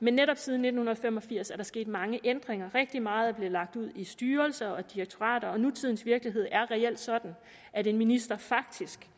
men netop siden nitten fem og firs er der sket mange ændringer rigtig meget er blevet lagt ud i styrelser og direktorater og nutidens virkelighed er reelt sådan at en minister faktisk